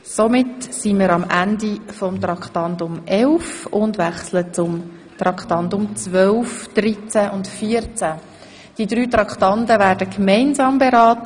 Als nächste werden wir die Traktanden 12, 13 und 14 gemeinsam beraten.